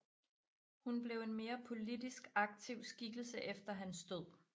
Hun blev en mere politisk aktiv skikkelse efter hans død